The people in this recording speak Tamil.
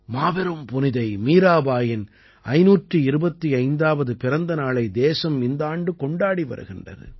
மாபெரும் புனிதை மீராபாயின் 525ஆவது பிறந்த நாளை தேசம் இந்த ஆண்டு கொண்டாடி வருகிறது